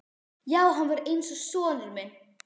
Já, hann var eins og sonur minn.